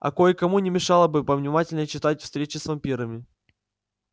а кое-кому не мешало бы повнимательнее читать встречи с вампирами